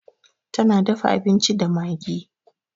Ta na dafa abinci da magi.